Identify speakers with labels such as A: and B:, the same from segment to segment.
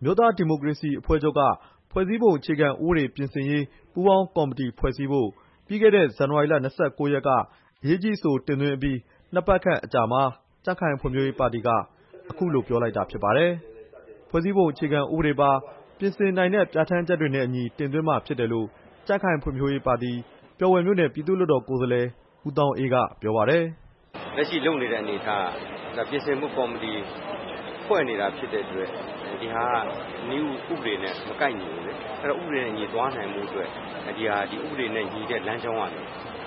A: အမျိုးသားဒီမိုကရေစီအဖွဲ့ချုပ်က ဖွဲ့စည်းပုံအခြေခံဥပဒေ ပြင်ဆင်ရေး ပူးပေါင်းကော်မတီဖွ့ဲစည်းဖု့ိ ပြီးခဲ့တဲ့ ဇန်နဝါရီလ ၂၉ ရက်နေ့က အရေးကြီးအဆို တင်သွင်းအပြီး နှစ်ပတ်ခန့်အကြာမှာ ကြံ့ခိုင်ဖံ့ွဖြိုးရေးပါတီက အခုလို ပြောလိုက်တာဖြစ်ပါတယ်။ ဖွဲ့စည်းပုံအခြေခံဥပဒေပါ ပြင်ဆင်နိုင်တဲ့ ပြဌာန်းချက်တွေနဲ့အညီ တင်သွင်းမှာ ဖြစ်တယ်လို့ ကြံ့ခိုင်ဖံ့ွဖြိုးရေးပါတီ ပျော်ဘွယ်မြို့နယ် ပြည်သူ့လွှတ်တော် ကိုယ်စားလှယ် ဦးသောင်းအေး က ပြောပါတယ်။
B: "လက်ရှိလုပ်နေတဲ့ အနေအထားက ပြင်ဆင်ဖို့ ကော်မတီဖွဲ့နေတာ ဖြစ်တဲ့အတွက် နည်းဥပဒေနဲ့ မကိုက်ညီဘူး၊ အဲဒီတော့ ဥပဒေအညီသွားဖို့အတွက် ဒီဟာက ဥပဒေနဲ့ညီတဲ့ လမ်းကြောင်းကနေ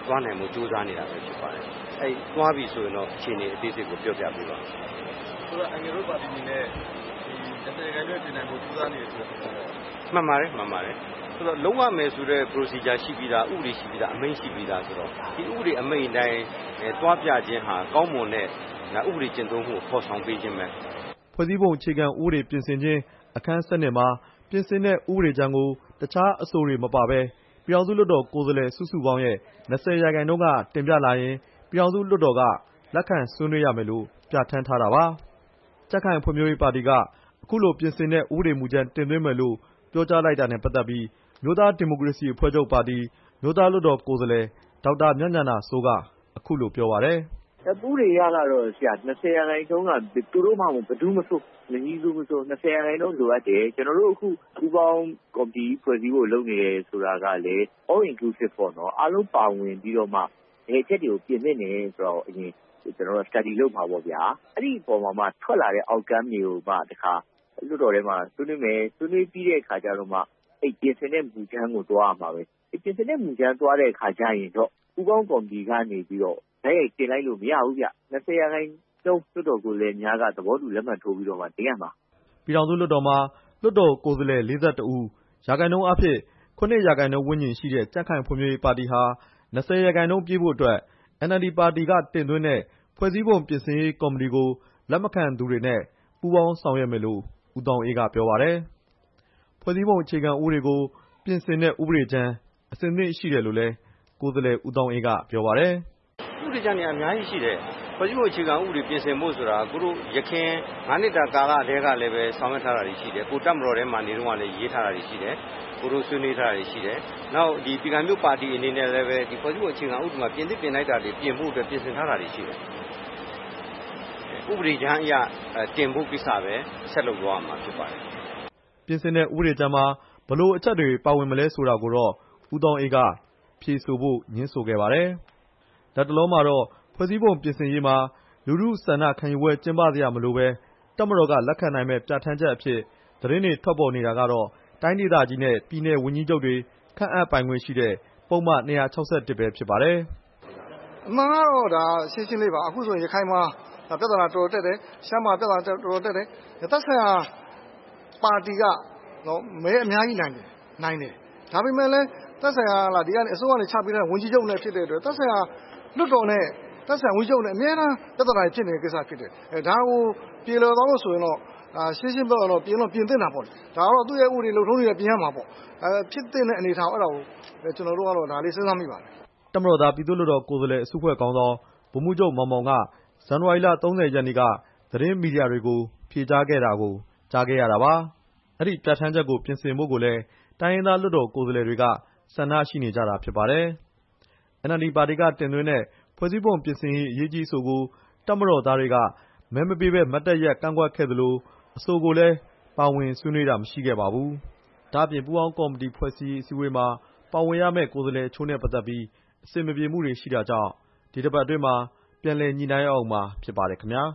B: သွားနိုင်ဖို့ ကြိုးစားနေတာပဲဖြစ်ပါတယ်။ အဲဒီသွားပြီဆိုရင်တော့ အခြေအနေအသေးစိတ်ကို ပြောပြပေးပါမယ်
A: ။ လု
B: ပ်ရမယ်ဆိုတဲ့ ဥပဒေရှိပြီးသား အမိန့်ရှိပြီးသားဆိုတော့ ဒီ ဥပဒေအမိန့် အတိုင်းသွားပြခြင်းဟာ ကောင်းမွန်တဲ့ ဒါဥပဒေကျင့်သုံးမူကို ဖော်ဆောင်ခြင်းပဲ"
A: ဖွဲ့စည်းပုံအခြေခံဥပဒေပြင်ဆင်ခြင်း အခန်း ၁၂ မှာ ပြင်ဆင်တဲ့ ဥပဒေကြမ်းကို တခြားအဆိုတွေမပါဘဲ ပြည်ထောင်စုလွှတ်တော် ကိုယ်စားလှယ် စုစုပေါင်းရဲ့ ၂၀ ရာခိုင်နှုန်းက တင်ပြလာရင် ပြည်ထောင်စု လွှတ်တော်က လက်ခံဆွေးနွေးရမယ်လို့ ပြဌာန်းထားတာပါ။ ကြံ့ခိုင်ဖံ့ွဖြိုးရေးပါတီက အခုလိုပြင်ဆင်တဲ့ ဥပဒေမူကြမ်းတင်သွင်းမယ်လို့ ပြောကြားလိုက်တာနဲ့ပတ်သက်ပြီး အမျိုးသားဒီမိုကရေစီအဖွဲ့ချုပ်ပါတီ အမျိုးသားလွှတ်တော် ကိုယ်စားလှယ် ဒေါက်တာ မြတ်ဉာဏစိုး က အခုလိုပြောပါတယ်။
C: "ဥပဒေအရကတော့ ၂၀ ရာခိုင်နှုန်းအရက သူတို့မှမဟုတ်ဘူး မည်သူမဆို ဘယ်သူမဆို ၂၀ ရာနှုန်းလိုအပ်တယ်။ ကျွန်တော်တို့ ပူးပေါင်းကော်မတီကြီး ဖွဲ့စည်းဖို့ လုပ်နေတယ်ဆိုတာကလည်း All inclusive ပေါ့ အားလုံးပါဝင်ပြီးတော့မှ ဘယ်အချက်ပြင်သင့်တယ်ဆိုတာကို အရင် လေ့လာစမ်းစစ်မှာပေါ့ဗျာ။ အဲဒီမှာမှ ထွက်လာတဲ့ အချက်တွေကိုမှ တစ်ခါ လွှတ်တော်ထဲမှာ ဆွေးနွေးမယ်။ ဆွေးနွေးပြီးတဲ့အခါကျတော့မှ အဲဒီပြင်ဆင်တဲ့မူကြမ်းကို သွားရမှာပဲ ၊ ပြင်ဆင်တဲ့မူကြမ်းသွားတဲ့ အခါကျရင်တော့ အဲဒီပူးပေါင်းကော်မတီကနေပြီးတော့ တိုက်ရိုက်တင်လိုက်လို့ မရဘူးဗျ ။ ၂၀ ရာခိုင်နှုန်း လွှတ်တော်ကိုယ်စားလှယ်များက သဘောတူလက်မှတ် ထိုးပြီးတော့မှ တင်ရမှာ
A: " ပြည်ထောင်စုလွှတ်တော်မှာ လွှတ်တော် ကိုယ်စားလှယ် ၄၁ ဦး၊ ရာခိုင်နှုန်းအားဖြင့် ၇ ရာခိုင်နှုန်း ဝန်းကျင်ရှိတဲ့ ကြံ့ခိုင်ဖွံ့ဖြိုးရေးပါတီဟာ ၂၀ ရာခိုင်နှုန်းပြည့်ဖို့အတွက် အင်န်အယ်လ်ဒီပါတီ တင်သွင်းတဲ့ ဖွဲ့စည်းပုံပြင်ဆင်ရေးကော်မတီကို လက်မခံသူတွေနဲ့ ပူးပေါင်းဆောင်ရွက်မယ်လို့ ဦးသောင်းအေးက ပြောပါတယ်။ ဖွဲ့စည်းပုံအခြေခံဥပဒေကို ပြင်ဆင်တဲ့ ဥပဒေကြမ်း အဆင်သင့်ရှိတယ်လို့လည်း ကိုယ်စားလှယ် ဦးသောင်းအေး က ပြောပါတယ်။
B: "ဥပဒေကြမ်းတွေက အများကြီးရှိတယ်။ ဖွဲ့စည်းပုံ အခြေခံဥပဒေကို ပြင်ဆင်ဖို့ဆိုတာ ယခင် ၅ နှစ်တာ ကာလကတည်းကလည်း ဆောင်ရွက်ထားတာတွေရှိတယ်။ ကိုယ်တပ်မတော်ထဲမှာနေတုန်းကလည်း ရေးထားတာတွေရှိတယ်။ ဆွေးနွေးထားတာတွေရှိတယ်။ ပြည်ခိုင်ဖြိုးပါတီ အနေနဲ့လည်း ဖွဲ့စည်းပုံမှာ ပြင်သင့်ပြင်ထိုက်တာတွေ ပြင်ဖို့အတွက် ပြင်ဆင်ထားတာတွေရှိတယ်။ ဥပဒေကြမ်းအရ တင်ဖို့ကိစ္စပဲ ဆက်လုပ်သွားရမှာဖြစ်ပါတယ်
A: " ပြင်ဆင်တဲ့မူကြမ်းမှာ ဘယ်လိုအချက်တွေ ပါဝင်မလဲဆိုတာကိုတော့ ဦးသောင်းအေးက ဖြေဆိုဖို့ ငြင်းဆိုခဲ့ပါတယ်။ လတ်တလောမှာတော့ ဖဲ့ွစည်းပုံပြင်ဆင်ရေးမှာ လူထုဆန္ဒခံယူပွဲ ကျင်းပစရာမလိုဘဲ တပ်မတော်က လက်ခံနိုင်မယ့် ပြဌာန်းချက်အဖြစ် သတင်းတွေ ထွက်ပေါ်နေတာကတော့ တိုင်းဒေသကြီးနဲ့ ပြည်နယ်ဝန်ကြီးချုပ်တွေ ခန့်အပ်ပိုင်ခွင့်ရှိတဲ့ ပုဒ်မ ၂၆၁ ပဲ ဖြစ်ပါတယ်
B: ။ "အမှန်ကတော့ ဒါရှင်းရှင်းလေးပါ။ အခုဆို ရခိုင်မှာ ပြဿနာ တော်တော်တက်တယ်။ ရှမ်းမှာ ပြဿနာ တော်တော်တက်တယ်။ သက်ဆိုင်ရာပါ
A: တီက မဲအများကြီးနိုင်တယ်။ ဒါပေမဲ့လည်း အစိုးရက ချပေးထားဝန်ကြီးချုပ်နဲ့ သက်ဆိုင်ရာပါတီနဲ့ သက်ဆိုင်ရာလွှတ်တော်နဲ့ ပြဿနာ အမြဲတမ်းဖြစ်တယ်။ ဒါကို ပြေလည်သွားဖို့ဆိုရင်တော့ ပြင်တော့ပြင်သင့်တာပေါ့လေ။ သူ့ရဲ့ဥပဒေ လုပ်ထုံးလုပ်နည်းနဲ့အညီ ပြင်ရမှာပေါ့။ ဖြစ်သင့်တဲ့အနေအထားကို ကျွန်တော်တို့က ဒါတော့ စဉ်းစားမိပါတယ်" တပ်မတော်သား ပြည်သူ့လွှတ်တော် ကိုယ်စားလှယ် အစုအဖွဲ့ခေါင်းဆောင် ဗိုလ်မှူးချုပ် မောင်မောင်က ဇန်နဝါရီလ ၃၀ရက်နေ့က သတင်းမီဒီယာတွေကို ဖြေကြားခဲ့တာကို ကြားခဲ့ရတာပါ။ ဒီပြဌာန်းချက်ကို ပြင်ဆင်ဖို့လည်း တိုင်းရင်းသားလွှတ်တော် ကိုယ်စားလှယ်တွေက ဆန္ဒရှိနေကြတာဖြစ်ပါတယ်။ အင်န်အယ်လ်ဒီပါတီက တင်သွင်းတဲ့ ဖွဲ့စည်းပုံပြင်ဆင်ရေးကော်မတီအရေးကြီးအဆိုကို တပ်မတော်သားတွေက မဲမပေးဘဲ မတ်တပ်ရပ် ကန့်ကွက်ခဲ့သလို အဆိုကိုလည်း ပါဝင်ဆွေးနွေးတာ မရှိခဲ့ပါဘူး။ ဒါ့အပြင် ပူးပေါင်းကော်မတီဖွဲ့စည်းရေး အစည်းအဝေးမှာ ပါဝင်ရမယ့် ကိုယ်စားလှယ်အချို့နဲ့ ပတ်သက်ပြီး အဆင်မပြေမှုတွေကြောင့် ပြန်လည်ညှိနှိုင်းရဦးမယ့် အခြေအနေ ဖြစ်ပါတယ်ခင်ဗျာ။